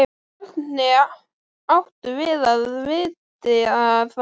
Hvernig áttum við að vita það?